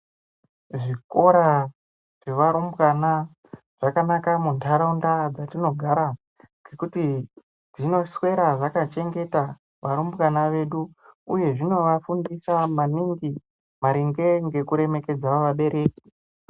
Zvikora zvevarumbwana zvakanaka mundaraunda dzatinogara ngekuti zvinoswera zvakachengeta varumbwana vedu uye zvinovafundisa maningi maringe ngekuremekedza vabereki.